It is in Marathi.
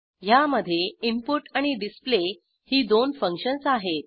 ह्यामधे इनपुट आणि डिस्प्ले ही दोन फंक्शन्स आहेत